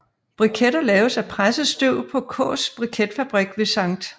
Briketter laves af presset tørv på Kaas briketfabrik ved St